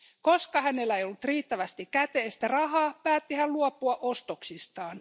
Koska hänellä ei ollut riittävästi käteistä rahaa, päätti hän luopua ostoksistaan.